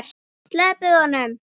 SLEPPIÐ HONUM!